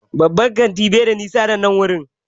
Babban kantin bai da nisa da nan wurin